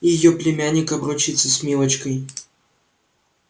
её племянник обручится с милочкой